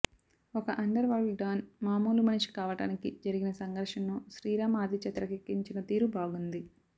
ఒక underworld don మామూలు మనిషి కావడానికి జరిగిన సంఘర్షణను శ్రీ రాం ఆదిత్య తెరకెక్కించిన తీరు బాగుంది